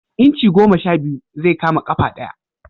Inci goma sha biyu zai kama ƙafa ɗaya